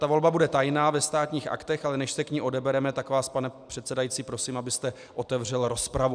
Ta volba bude tajná, ve Státních aktech, ale než se k ní odebereme, tak vás, pane předsedající, prosím, abyste otevřel rozpravu.